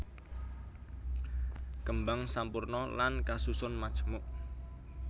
Kembang sampurna lan kasusun majemuk